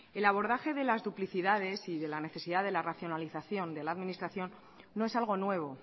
el abordaje de las duplicidades y la necesidad de la racionalización de la administración no es algo nuevo